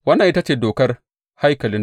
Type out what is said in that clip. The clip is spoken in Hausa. Wannan ita ce dokar haikalin.